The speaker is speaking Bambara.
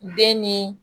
Den ni